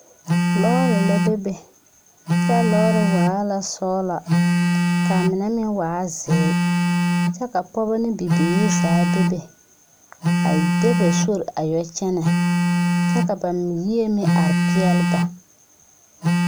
Lɔɔre la bebe kyɛ a lɔɔre waa la sɔglɔ kaa mine meŋ waa zeere kyɛ ka pɔge ne bibiire zaa bebe a de ba sori a yɔ kyɛnɛ kyɛ ka ba yie meŋ are peɛle ne ba.